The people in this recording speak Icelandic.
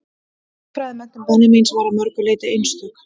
Hagfræðimenntun Benjamíns var að mörgu leyti einstök.